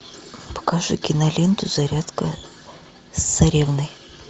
покажи киноленту зарядка с царевной